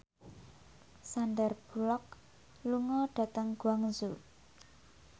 Sandar Bullock lunga dhateng Guangzhou